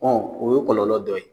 Ɔ o ye kɔlɔlɔ dɔ ye